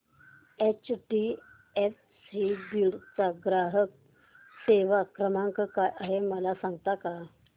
HDFC Beed चा ग्राहक सेवा क्रमांक काय आहे मला सांगता का